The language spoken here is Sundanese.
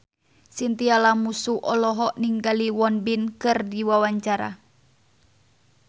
Chintya Lamusu olohok ningali Won Bin keur diwawancara